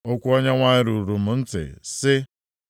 Okwu Onyenwe anyị ruru m ntị, sị,